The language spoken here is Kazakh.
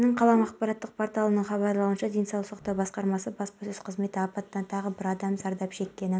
жаңа шағын маркетті қарау барысында юбилейный өртенген кезде зардап шеккен пәтер иесі әкімге алғысын айтып онымен селфи жасауды сұрады